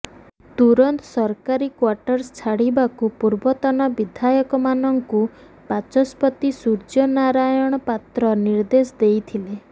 ତୁରନ୍ତ ସରକାରୀ କ୍ୱାର୍ଟର୍ସ ଛାଡ଼ିବାକୁ ପୂର୍ବତନ ବିଧାୟକମାନଙ୍କୁ ବାଚସ୍ପତି ସୂର୍ଯ୍ୟ ନାରାୟଣ ପାତ୍ର ନିର୍ଦ୍ଦେଶ ଦେଇଥିଲେ